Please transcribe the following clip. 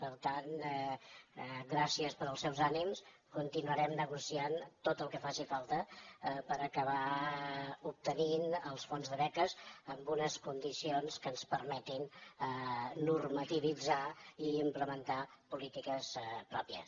per tant gràcies pels seus ànims continuarem negociant tot el que faci falta per acabar obtenint els fons de beques amb unes condicions que ens permetin normativitzar i implementar polítiques pròpies